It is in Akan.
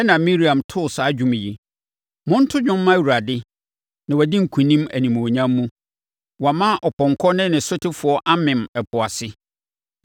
Ɛnna Miriam too saa dwom yi: “Monto dwom mma Awurade na wadi nkonim animuonyam mu. Wama ɔpɔnkɔ ne ne sotefoɔ amem ɛpo ase.”